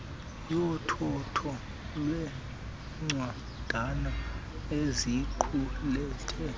yothotho lweencwadana eziqulethe